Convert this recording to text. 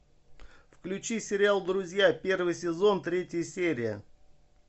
включи сериал друзья первый сезон третья серия